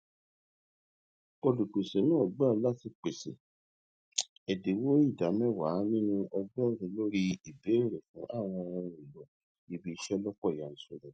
olùpèsè náà gbà láti pèsè ẹdínwó ìdá mẹwàá nínú ọgọrùún lórí ìbèèrè fún àwọn ohun èlò ibi iṣẹ lọpọ yanturu